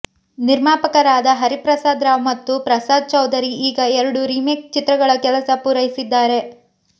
ನಿರ್ಮಾಪಕರಾದ ಹರಿಪ್ರಸಾದ್ ರಾವ್ ಮತ್ತು ಪ್ರಸಾದ್ ಚೌಧರಿ ಈಗ ಎರಡು ರೀಮೇಕ್ ಚಿತ್ರಗಳ ಕೆಲಸ ಪೂರೈಸಿದ್ದಾರೆ